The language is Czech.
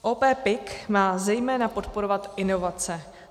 OP PIK má zejména podporovat inovace.